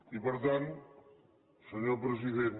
i per tant senyor president